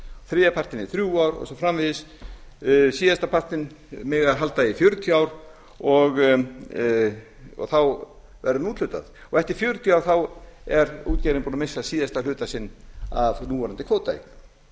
þriðja partinn í þrjú ár og svo framvegis síðasta partinn mega þeir halda í fjörutíu ár og þá verður honum úthlutað eftir fjörutíu ár er útgerðin búin að missa síðasta hluta sinn af núverandi kvótaeign